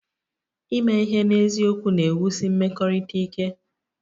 Ime ihe n'eziokwu na-ewusi mmekọrịta ike